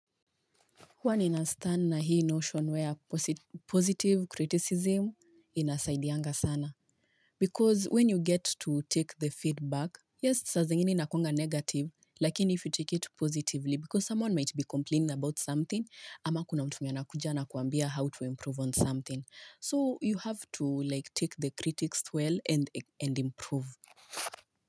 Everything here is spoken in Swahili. Huaa ninastane na hii notion where positive criticism inasaidianga sana. Because when you get to take the feedback, yes, saa zingine inakuanga negative, lakini if you take it positively, because someone might be complaining about something, ama kuna mtum mwenye ana kuja na kuambia how to improve on something. So you have to take the critics well and improve.